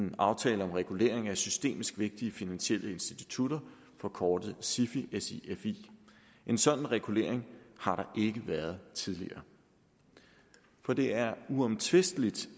en aftale om regulering af systemisk vigtige finansielle institutter forkortet sifi en sådan regulering har der ikke været tidligere for det er uomtvisteligt